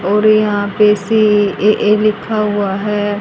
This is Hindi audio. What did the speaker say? और यहां पे सी_ए_ए लिखा हुआ है।